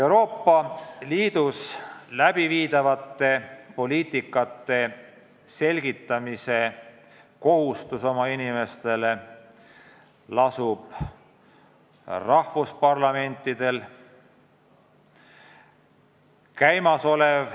Euroopa Liidus läbiviidavate poliitikate selgitamise kohustus lasub riikide parlamentidel.